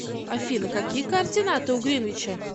афина какие координаты у гринвича